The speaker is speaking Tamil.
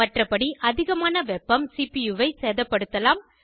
மற்றபடி அதிகமான வெப்பம் சிபியூவை சேதப்படுத்தலாம்